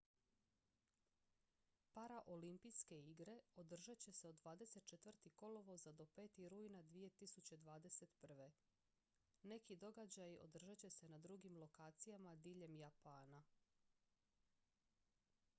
paraolimpijske igre održat će se od 24. kolovoza do 5. rujna 2021. neki događaji održat će se na drugim lokacijama diljem japana